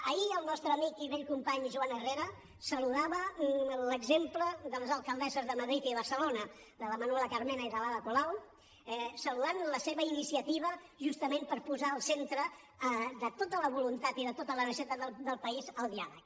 ahir el nostre amic i vell company joan herrera saludava l’exemple de les alcaldesses de madrid i barcelona de la manuela carmena i de l’ada colau saludant la seva iniciativa justament per posar al centre de tota la voluntat i de tota la necessitat del país el diàleg